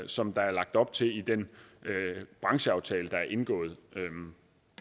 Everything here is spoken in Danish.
som der er lagt op til i den brancheaftale der er indgået